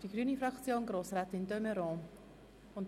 Für die grüne Fraktion spricht nun Grossrätin de Meuron.